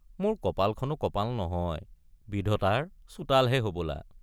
মোৰ কপালখনো কপাল নহয় বিধতাৰ চোতাল হে হবলা।